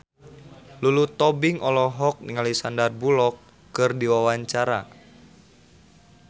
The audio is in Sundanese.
Lulu Tobing olohok ningali Sandar Bullock keur diwawancara